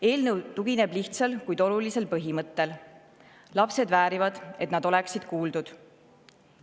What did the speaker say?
Eelnõu tugineb lihtsal, kuid olulisel põhimõttel: lapsed väärivad seda, et nad oleksid kuuldud.